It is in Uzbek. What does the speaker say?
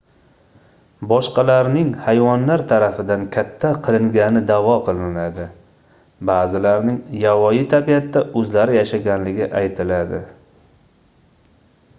boshqalarning hayvonlar tarafidan katta qilingani daʼvo qilinadi baʼzilarining yovvoyi tabiatda oʻzlari yashaganligi aytiladi